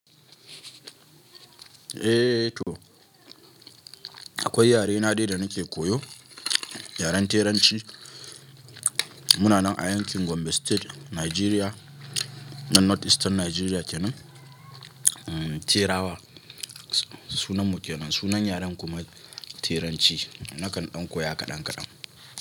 Eh to akwai yare na dai da nake koyo, yaren teranci. Muna nan a yankin Gombe State, Nigeria nan North Eastern Nigeria kenan. Terawa sunan mukennan, sunan yaren kuma teranci. Nakan ɗan koya kaɗan kaɗan.